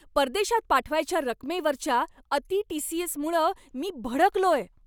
परदेशात पाठवायच्या रकमेवरच्या अति टी.सी.एस.मुळं मी भडकलोय.